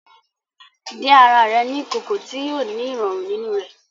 Dín àrà rẹ ní ìkòkò ti yóò ni irọrun nínú rẹ